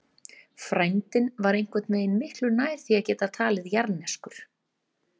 Frændinn var einhvern veginn miklu nær því að geta talist jarðneskur.